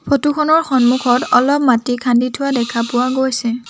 ফটোখনৰ সন্মুখত অলপ মাটি খান্দি থোৱা দেখা পোৱা গৈছে।